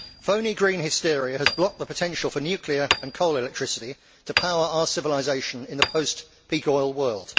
Phoney green hysteria has blocked the potential for nuclear and coal electricity to power our civilisation in the post peak oil world.